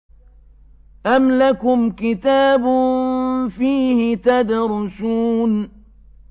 أَمْ لَكُمْ كِتَابٌ فِيهِ تَدْرُسُونَ